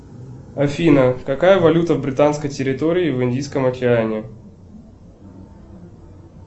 афина какая валюта в британской территории в индийском океане